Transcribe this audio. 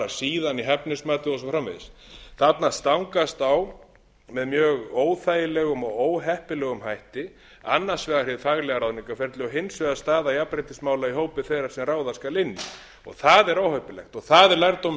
síðan í hæfnismatið og svo framvegis þarna stangast á með mjög óþægilegum og óheppilegum hætti annars vegar hið faglega ráðningarferli og hins vegar staða jafnréttismála í hópi þeirra sem ráða skal inn það er óheppilegt og það er lærdómur sem við